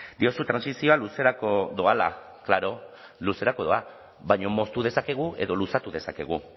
diozu trantsizioa luzerako doala klaro luzerako doa baina moztu dezakegu edo luzatu dezakegu